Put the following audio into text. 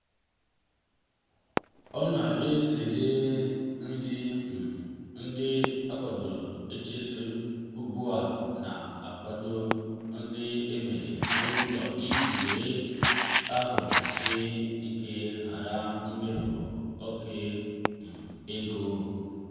ọ na-ezere nri um ndị echedoro echedo ugbu a na-ahọrọ ndị emere n'ụlọ iji nwee ahụ ike ma hara imefu oke um ego.